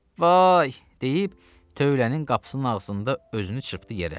Vay, deyib tövlənin qapısının ağzında özünü çırpdı yerə.